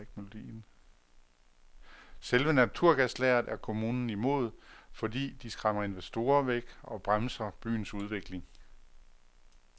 Selve naturgaslageret er kommunen imod, fordi de skræmmer investorer væk og bremser byens udvikling.